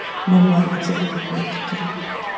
Mamma hennar kemur honum ekkert við.